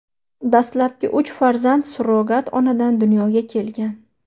Dastlabki uch farzand surrogat onadan dunyoga kelgan.